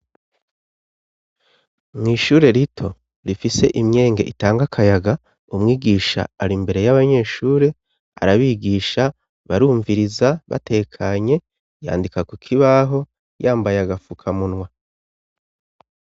Mw'ishure rito rifise imyenge itanga akayaga umwigisha ari imbere y'abanyeshure, arabigisha ,barumviriza batekanye yandika kukibaho yambaye agapfukamunwa.